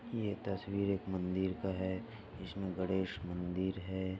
ये तस्वीर एक मंदिर का है जिसमे गणेश मंदिर है।